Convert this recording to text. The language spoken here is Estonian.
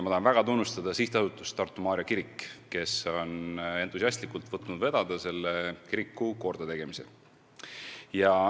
Ma tahan väga tunnustada Sihtasutust Tartu Maarja Kirik, kes on entusiastlikult võtnud vedada selle kiriku kordategemise.